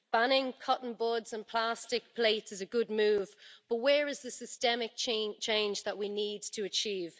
Banning cotton buds and plastic plates is a good move, but where is the systemic change that we need to achieve?